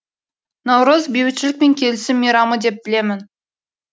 наурыз бейбітшілік пен келісім мейрамы деп білемін